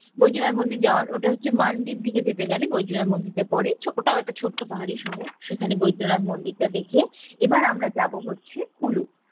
বৈদ্যনাথ মন্দির যাওয়ার ওটা হচ্ছে মান্ডির দিকে যেতে গেলে বৈদ্যনাথ মন্দির টা পরে ওটা একটা ছোট্ট পাহাড়ি সাগর সেখানে বৈদ্যনাথ মন্দির টা দেখে এবার আমরা যাব হচ্ছে কুলু